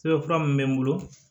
Sɛbɛn fura min bɛ n bolo